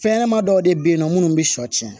Fɛnɲɛnɛma dɔw de bɛ yen nɔ minnu bɛ shɔ tiɲɛ